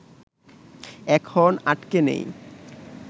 এখন আটকে নেই